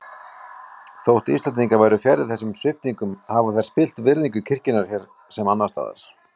Þótt Íslendingar væru fjarri þessum sviptingum hafa þær spillt virðingu kirkjunnar hér sem annars staðar.